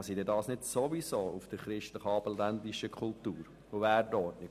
Tun sie dies nicht christlichabendländischen Kultur und Wertordnung?